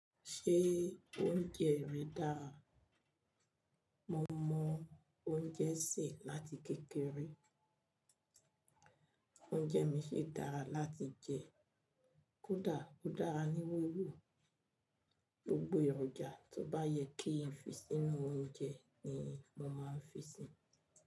Ṣé oúnjẹ rẹ dára? Mo mọ oúnjẹ sè láti kékeré. Oúnjẹ mi sì dára láti jẹ. Kódà ó dára ní wòòrò. Gbogbo èròjà tó bá yẹ kí n fi sínú oúnjẹ ni mo máa ń fi sínú.